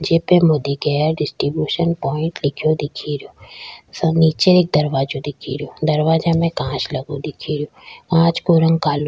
जे पे Modi care distribution point लिखयो दिखे रियो नीचे एक दरवाजा दिखे रियो दरवाजा में एक कांच लगो दिखे रियो कांच का रंग कालो --